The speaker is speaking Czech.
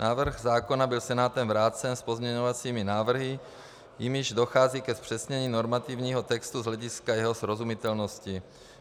Návrh zákona byl Senátem vrácen s pozměňovacími návrhy, jimiž dochází ke zpřesnění normativního textu z hlediska jeho srozumitelnosti.